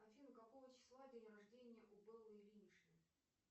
афина какого числа день рождения у беллы ильиничны